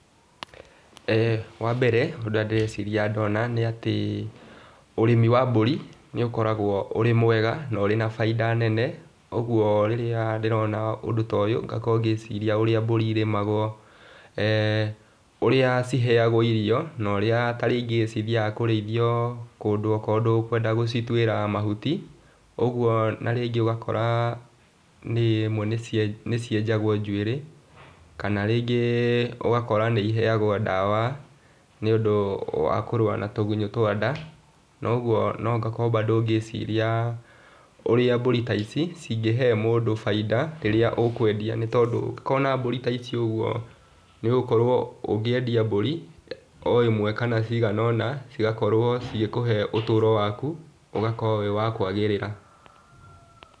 Wa mbere, ũrĩa ndĩreciria ndona nĩ atĩ, ũrĩmi wa mbũri nĩ ũkoragwo ũrĩ mwega na ũrĩ na baita nene, ũguo rĩrĩa ndĩrona ũndũ ta ũyũ ngakorwo ngĩciria ũrĩa mbũri irĩmagwo. Ũrĩa ciheagwo irio na ũrĩa ta rĩngĩ cithiaga kũrĩithio kũndũ okorwo ndũkwinda gũcitwĩra mahuti. Ũguo na rĩngĩ ũgakora rĩmwe nĩ cienjagwo njwĩrĩ, kana rĩngĩ ũgakora nĩ ĩheagwo ndawa nĩ ũndũ wa kũrũa ta tũgunyũ twa nda. Na ũguo no ngakorwo bado ngĩciria ũrĩa mbũri ta ici cingĩhe mũndũ baita rĩrĩa ũkwendia nĩ tondũ ũngĩkorwo na mbũrĩ ta ici uguo nĩ ũgũkorwo ũkiendia mbũri o ĩmwe kana ciganona cigakorwo cigĩkũhe ũtũro waku ũgakorwo wĩ wa kwagĩrĩra.